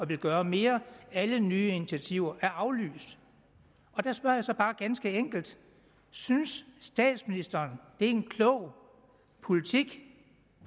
vil gøre mere alle nye initiativer er aflyst der spørger jeg så bare ganske enkelt synes statsministeren det er en klog politik